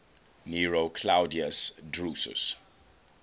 nero claudius drusus